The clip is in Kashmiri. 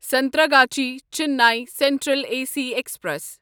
Santragachi Chennai central A C express